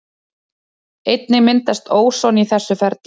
Einnig myndast óson í þessu ferli.